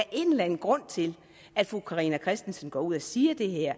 en grund til at fru carina christensen går ud og siger det her